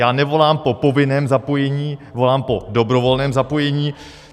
Já nevolám po povinném zapojení, volám po dobrovolném zapojení.